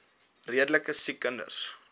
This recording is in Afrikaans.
redelike siek kinders